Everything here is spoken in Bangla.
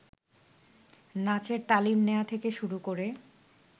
নাচের তালিম নেয়া থেকে শুরু করে